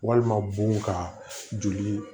Walima bon ka joli